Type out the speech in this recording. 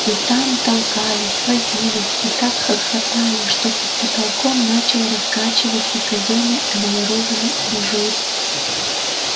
и там толкались возились и так хохотали что под потолком начал раскачиваться казённый эмалированный абажур